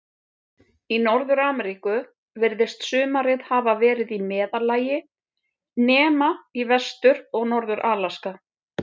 Í Norður-Ameríku virðist sumarið hafa verið í meðallagi, nema í Vestur- og Norður-Alaska.